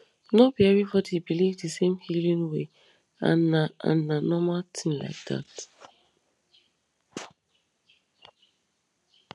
no be everybody believe the same healing way and na and na normal thing like that